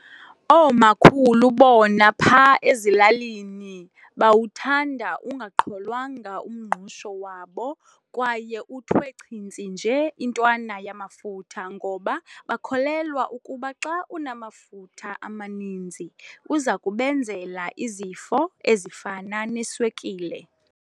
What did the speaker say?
Oomakhulu bona pha ezilalinii bawuthanda ungaqholwanga umngqusho wabo kwaye uthwe chintsi nje intwana yamafutha ngoba bakholelwa ukuba xa unamafutha amaninzi uza kubenzela izifo ezifana neswekile.